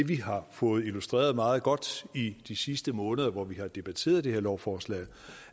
vi har fået illustreret meget godt i de sidste måneder hvor vi har debatteret det her lovforslag